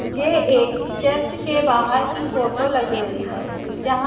जे एक चर्च के बाहर की फोटो लग रही है जहां--